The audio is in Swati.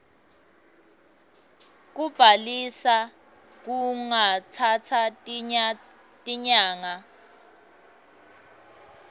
kubhalisa kungatsatsa tinyanga